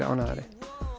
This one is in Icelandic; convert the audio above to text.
ánægðari